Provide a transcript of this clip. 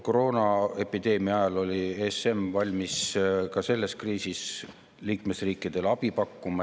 Koroonaepideemia ajal oli ESM valmis liikmesriikidele abi pakkuma.